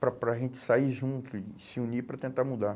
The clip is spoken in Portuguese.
para para a gente sair junto e se unir para tentar mudar.